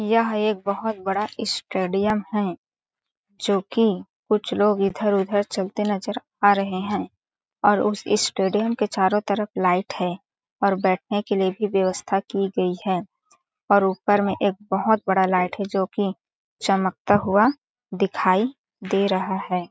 यह एक बहोत बड़ा स्टेडियम है जोकि कुछ लोग इधर-उधर चलते नज़र आ रहे है और उस स्टेडियम के चारों तरफ लाइट है और बैठने के लिए भी व्यवस्था की गई है और ऊपर में एक बहुत बड़ा लाइट है जोकि चमकता हुआ दिखाई दे रहा हैं ।